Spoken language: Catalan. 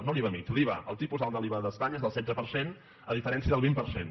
no l’iva mitjà l’iva el tipus alt de l’iva d’espanya és del setze per cent a diferència del vint per cent